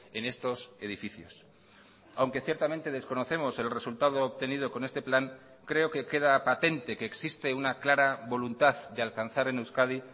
en estos edificios aunque ciertamente desconocemos el resultado obtenido con este plan creo que queda patente que existe una clara voluntad de alcanzar en euskadi